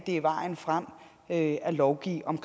det er vejen frem at lovgive om